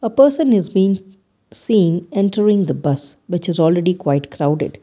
A person is been seen entering the bus which is already quite crowded.